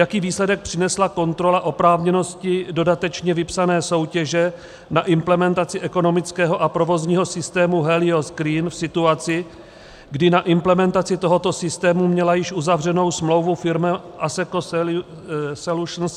Jaký výsledek přinesla kontrola oprávněnosti dodatečně vypsané soutěže na implementaci ekonomického a provozního systém Helios Green v situaci, kdy na implementaci tohoto systému měla již uzavřenou smlouvu firma Asseco Solutions?